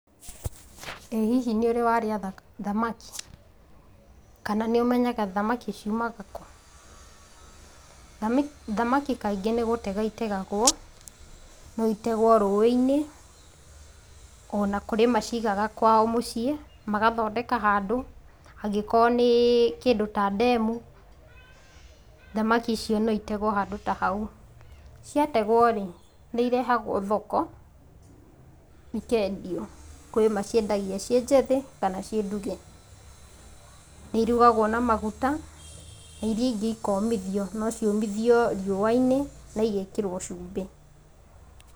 Ĩ hihi nĩ ũrĩ warĩa thamaki ? Kana nĩ ũmenyaga thamaki ciumaga kũũ ? Thamaki kaingĩ nĩ gũtegwo itegagwo. No itegwo rũĩ-inĩ, ona kũrĩ macigaga kwao mũciĩ magathondeka handũ. Angĩkorwo nĩ kĩndũ ta ndemu, thamaki icio no itegwo handũ ta hau. Ciategwo-rĩ, nĩ cirehagwo thoko cikendio. kwĩ maciendagia ciĩnjĩthĩ, kana ciĩnduge. Nĩ ĩrugagwo na maguta, na iria ingĩ ikomithio. No ciũmithio riũwa-inĩ, na cigekĩrwo cumbĩ.